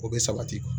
O bɛ sabati kuwa